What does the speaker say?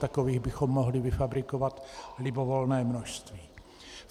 Takových bychom mohli vyfabrikovat libovolné množství.